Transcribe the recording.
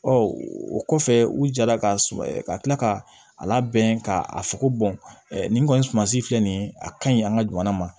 o kɔfɛ u jara ka s ka kila ka a labɛn ka a fɔ ko nin kɔni sumansi filɛ nin ye a ka ɲi an ka jamana ma